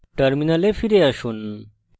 terminal ফিরে আসুন